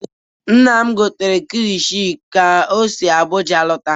Nna m gotere kilichi ka o si Abụja alọta.